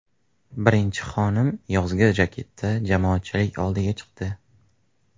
Birinchi xonim yozgi jaketda jamoatchilik oldiga chiqdi.